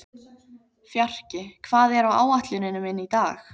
Fjarki, hvað er á áætluninni minni í dag?